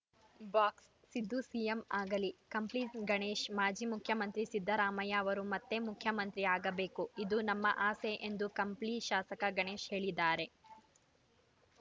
box Siddu CM ಆಗಲಿ ಕಂಪ್ಲಿ ಗಣೇಶ್‌ ಮಾಜಿ ಮುಖ್ಯಮಂತ್ರಿ ಸಿದ್ದರಾಮಯ್ಯ ಅವರು ಮತ್ತೆ ಮುಖ್ಯಮಂತ್ರಿಯಾಗಬೇಕು ಇದು ನಮ್ಮ ಆಸೆ ಎಂದು ಕಂಪ್ಲಿ ಶಾಸಕ ಗಣೇಶ್‌ ಹೇಳಿದ್ದಾರೆ